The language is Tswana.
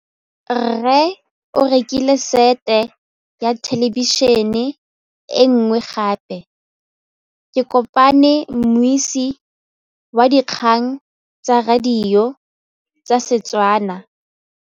Rre o rekile sete ya thêlêbišênê e nngwe gape. Ke kopane mmuisi w dikgang tsa radio tsa Setswana.